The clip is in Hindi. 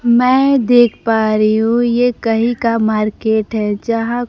मैं देख पा रही हूं यह कहीं का मार्केट है यहां--